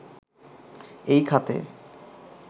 এই খাতে